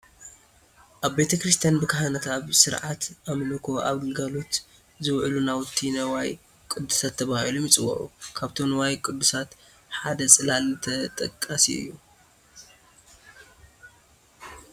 ኣብ ቤተ ክርስቲያን ብካህናት ኣብ ስርዓተ ኣምልኮ ኣብ ግልጋሎት ዝውዕሉ ናውቲ ንዋየ ቅድሳት ተባሂሎም ይፅውዑ፡፡ ካብቶም ንዋየ ቅድሳት ሓደ ፅላል ተጠቃሲ እዩ፡፡